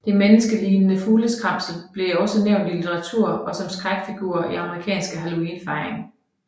Det menneskelignende fugleskræmslet bliver også nævnt i litteratur og som skrækfigur i amerikansk Halloweenfejring